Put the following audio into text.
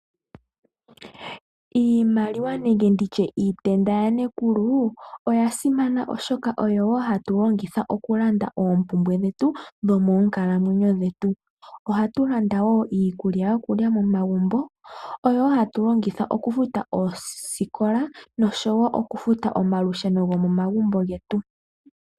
Iimaliwa nenge iitenda ya nekulu oya simana oshoka oyo hatu longitha okulanda oompumbwe dhetu dhonkalamwenyo dhetu. Ohatu landa woo iikulya yokulya momagumbo, oyo hatu longitha okufuta oosikola noshowo okufuta omalusheno go momagumbo getu.